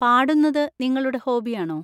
പാടുന്നത് നിങ്ങളുടെ ഹോബിയാണോ?